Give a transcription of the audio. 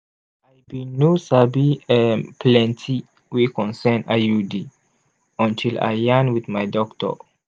i bin no sabi um plenti wey concern iud until i yarn wit my doctor